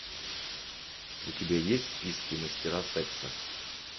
у тебя есть в списке мастера секса